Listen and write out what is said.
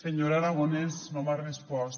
senyor aragonès no m’ha respost